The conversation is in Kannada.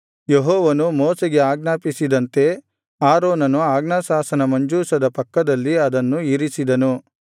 ಯೆಹೋವನು ಮೋಶೆಗೆ ಆಜ್ಞಾಪಿಸಿದಂತೆ ಆರೋನನು ಆಜ್ಞಾಶಾಸನ ಮಂಜೂಷದ ಪಕ್ಕದಲ್ಲಿ ಅದನ್ನು ಇರಿಸಿದನು